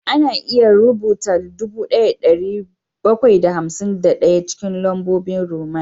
Ana iya rubuta dubu ɗaya da ɗari bakwai da hamsin da ɗaya cikin lambobin Roman